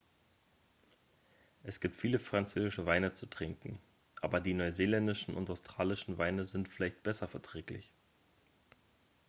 es gibt viele französische weine zu trinken aber die neuseeländischen und australischen weine sind vielleicht besser verträglich